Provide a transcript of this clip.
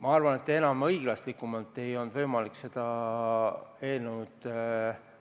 Ma arvan, et enam õiglasemalt ei olnud võimalik seda eelnõu